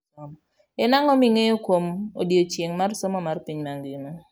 En ang'o ming'eyo kuom odiechieng' mar somo mar piny ngima?